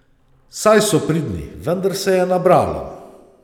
Saj so pridni, vendar se je nabralo.